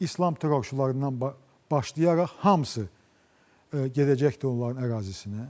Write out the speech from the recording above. İslam terrorçularından başlayaraq hamısı gedəcəkdir onların ərazisinə.